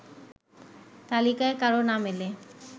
তালিকায় কারো নাম এলে